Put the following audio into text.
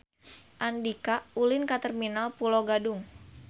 Andika ulin ka Terminal Pulo Gadung